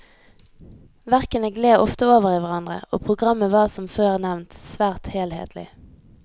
Verkene gled ofte over i hverandre, og programmet var som før nevnt svært helhetlig.